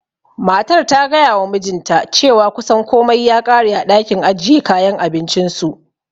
Matar ta gayawa mijinta cewa kusan komai ya ƙare a ɗakin ajiye kayan abincinsu.